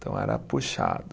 Então era puxado.